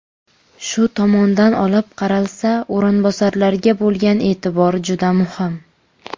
Shu tomondan olib qaralsa, o‘rinbosarlarga bo‘lgan e’tibor juda muhim.